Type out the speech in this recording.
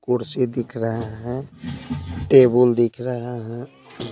कुर्सी दिख रहा है टेबल दिख रहा है।